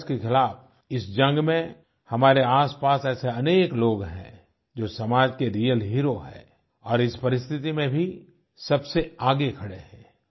coronavirus के खिलाफ़ इस जंग में हमारे आसपास ऐसे अनेक लोग हैं जो समाज के रियल हेरो हैं और इस परिस्थिति में भी सबसे आगे खड़े हैं